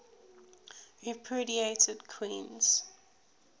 repudiated queens